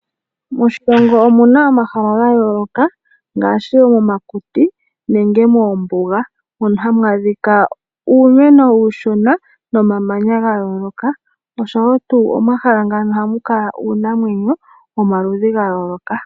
Moshilongo omu na omahala ga yooloka ngaashi omakuti nenge moombuga mono hamu adhika uumeno uushona nomamanya ga yooloka noshowo tuu omahala ngano oha mu kala uunanamwenyo womaludhi ga yooloka.